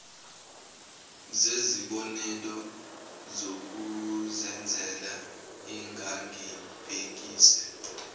zezibonelo zokuzenzela engangibhekise